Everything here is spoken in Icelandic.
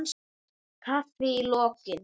Kaffi í lokin.